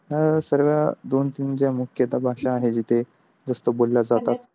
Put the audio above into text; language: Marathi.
ह्या सगळ्या दोन तीन ज्या मुख्य त्या भाषा आहे तिथे जास्त बोल्या जातात .